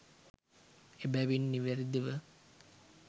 එබැවින් නිවැරැදි ව